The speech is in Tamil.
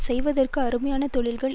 செய்வதற்கு அருமையான தொழில்கள்